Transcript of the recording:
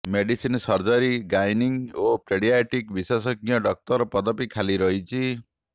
medicine surgery gynaec ଓ paediatric ବିଶେଷଜ୍ଞ ଡାକ୍ତର ପଦବୀ ଖାଲି ରହିଛି